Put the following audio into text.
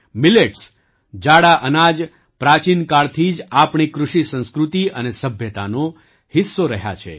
મિલેટ્સજાડા અનાજ પ્રાચીન કાળથી જ આપણી કૃષિ સંસ્કૃતિ અને સભ્યતાનો હિસ્સો રહ્યા છે